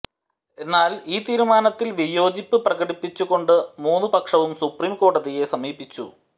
എന്നാൽ ഈ തീരുമാനത്തിൽ വിയോജിപ്പ് പ്രകടിപ്പിച്ചുകൊണ്ട് മൂന്നു പക്ഷവും സുപ്രീം കോടതിയെ സമീപിച്ചു